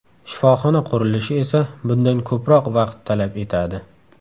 Shifoxona qurilishi esa bundan ko‘proq vaqt talab etadi.